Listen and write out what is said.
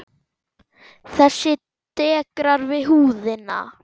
Þessi dekrar við húðina.